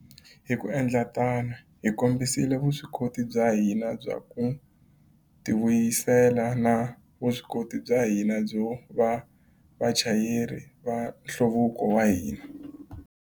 Hi ku endla tano, hi kombisile vuswikoti bya hina bya ku tivuyisela na vuswikoti bya hina byo va vachayeri va nhluvuko wa hina.